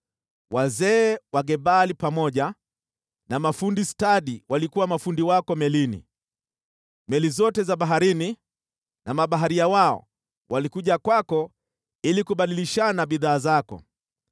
Wazee wa Gebali pamoja na mafundi stadi walikuwa mafundi wako melini. Meli zote za baharini na mabaharia wao walikuja kwako ili kubadilishana bidhaa zako.